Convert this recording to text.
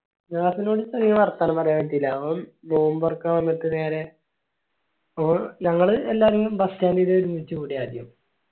നാഫിനോട് അങ്ങനെ വർത്താനം പറയാൻ പറ്റീല ഓൻ നോമ്പ് തോർക്കാണ് വന്നിട്ട് നേരെ ഒന് ഞങ്ങൾ എള്ളേര് bus stand ഇൽ ഒരുമിച്ചു കൂടി ആദ്യം